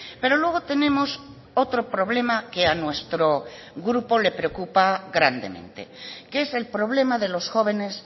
pero luego tenemos otro problema que a nuestro grupo le preocupa grandemente que es el problema de los jóvenes